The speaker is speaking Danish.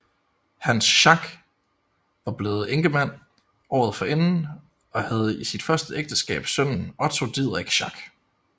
Hans Schack var blevet enkemand året forinden og havde af sit første ægteskab sønnen Otto Didrik Schack